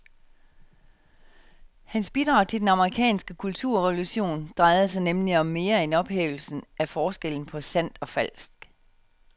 Hans bidrag til den amerikanske kulturrevolution drejede sig nemlig om mere end ophævelsen af forskellen på sandt og falsk.